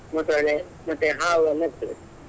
ಮತ್ತೆ ಅದೇ ಮತ್ತೆ ಹಾವು ಎಲ್ಲ ಇರ್ತದೆ.